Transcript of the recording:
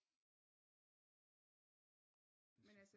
Men altså